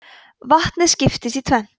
vatnið skiptist í tvennt